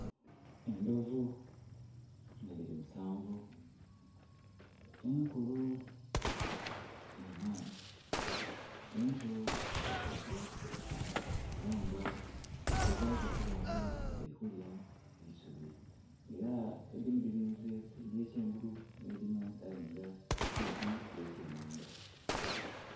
Endovu nga diri musanvu nkulu inha ento isatu era nga digezaku okuba nga dirikulya eisubi era edimu dirinze eye kyengulu edimu dalinga saidi eye kyemanga